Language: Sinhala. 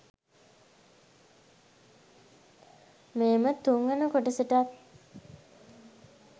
මේම තුන්වන කොටසටත්